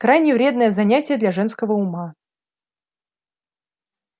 крайне вредное занятие для женского ума